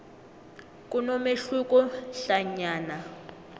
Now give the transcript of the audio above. kunomehluko hlanyana